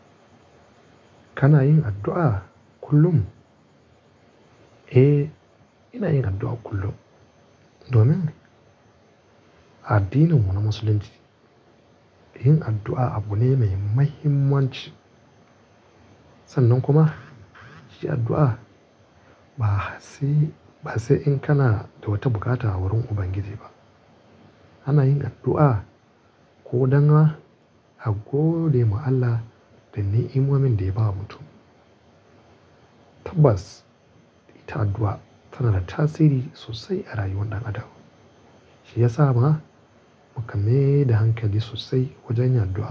Kana yin addu'a kullum? Eh, ina yin addu'a kullum. Domin A addinin mu na musulunci, yin addu'a abu ne mai muhimmanci. Sannan kuma, yi addu'a ba sai in kana da wata bukata wurin Ubangiji ba. Ana yin addu'a ko dan a godewa Allah da niimomin da ya bawa mutum. Tabbas, ita addu'a tana da tasiri sosai a rayuwar ɗan adam. Shi ya ma muka maida da hankali sosai wajen yin addu'a.